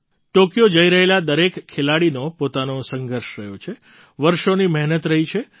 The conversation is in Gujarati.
ટૉક્યો જઈ રહેલા દરેક ખેલાડીનો પોતાનો સંઘર્ષ રહ્યો છે વર્ષોની મહેનત રહી છે